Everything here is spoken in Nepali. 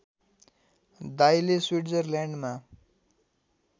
दाइले स्विट्जरल्यान्डमा